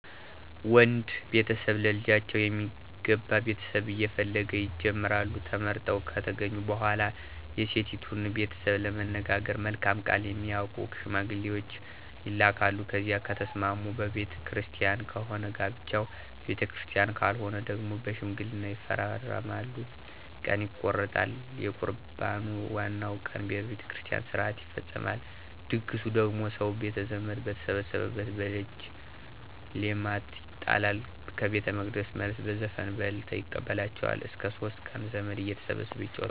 ወንድ ቤተሰብ ለልጃቸው የሚገባ ቤተሰብ እየፈለጉ ይጀምራሉ። ተመርጠው ከተገኙ በኋላ የሴቲቱን ቤተሰብ ለመነጋገር መልካም ቃል የሚያውቁ ሸማግሌዎች ይላካሉ። ከዚያ ከተስማሙ በቤተ ክርስቲያን ከሆነ ጋብቻው በቤተክርስቲያን ካልሆነ ደግሞ በሽማግሌ ይፈራረማሉ። ቀን ይቆረጣል። የቁርባኑ ዋናው ቀን በቤተ ክርስቲያን ሥርዓት ይፈፀማል። ድግሱ ደግሞ ሰው ቤተዘመድ በተሰበሰበበት በደጅ ሌማት ይጣላል። ከቤተመቅደስ መልስ በዘፈንና በእልልታ ይቀበላቸዋል። እስከ ሶስት ቀን ዘመድ እየተሰበሰበ ይጫወታል።